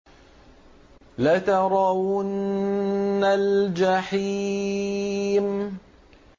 لَتَرَوُنَّ الْجَحِيمَ